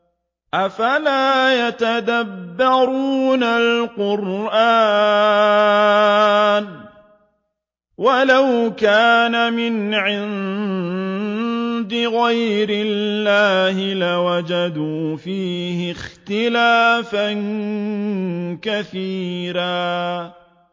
أَفَلَا يَتَدَبَّرُونَ الْقُرْآنَ ۚ وَلَوْ كَانَ مِنْ عِندِ غَيْرِ اللَّهِ لَوَجَدُوا فِيهِ اخْتِلَافًا كَثِيرًا